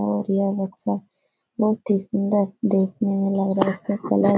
और यह बच्चा बहोत ही सुंदर देखने में लग रहा है इसका कलर --